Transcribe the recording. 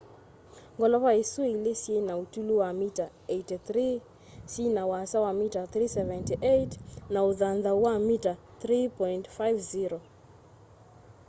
ngolova isũ ĩlĩ syĩna ũtũlu wa mita 83 syina ũasa wa mita 378 na ũthanthau wa mita 3.50